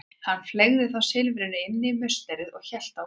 Hann fleygði þá silfrinu inn í musterið og hélt brott.